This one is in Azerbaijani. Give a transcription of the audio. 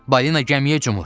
Balina gəmiyə cumur.